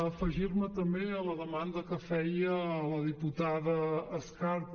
afegir me també a la demanda que feia la diputada escarp